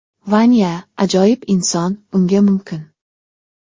Vanya – ajoyib inson, unga mumkin.